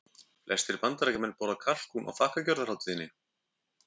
Flestir Bandaríkjamenn borða kalkún á þakkargjörðarhátíðinni.